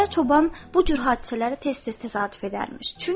Qaya çoban bu cür hadisələri tez-tez təsadüf edərmiş.